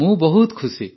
ମୁଁ ବହୁତ ଖୁସି